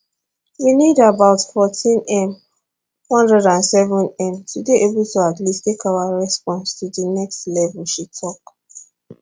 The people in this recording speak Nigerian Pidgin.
we need about 14m 107m to dey able to at least take our response to di next level she tok